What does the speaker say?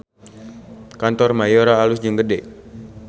Kantor Mayora alus jeung gede